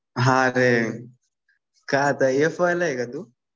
हा अरे काय आता एफ वायला आहे का तू?